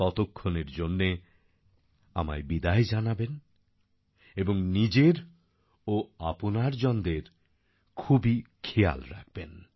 ততক্ষণের জন্যে আমায় বিদায় জানাবেন এবং নিজের ও আপনার জনদের খুবই খেয়াল রাখবেন